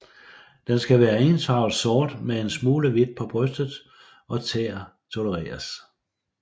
Den skal være ensfarvet sort men en smule hvidt på bryst og tæer tolereres